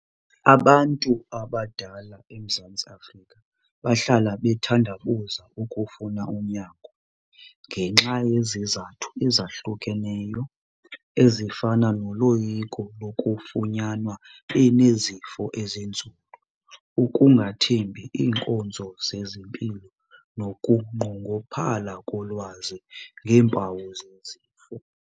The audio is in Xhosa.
Abantu abadala eMzantsi Afrika bahlala bethandabuza ukufuna unyango ngenxa yezizathu ezahlukeneyo ezifana noloyiko lokufunyanwa benezifo ezinzulu, ukungathembi iinkonzo zezempilo nokunqongophala kolwazi ngeempawu zezifo.